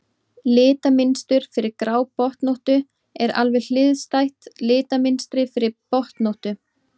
Litamynstur fyrir grábotnóttu er alveg hliðstætt litamynstri fyrir botnóttu.